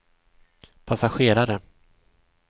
passagerare